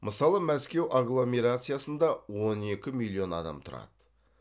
мысалы мәскеу агломерациясында он екі миллион адам тұрады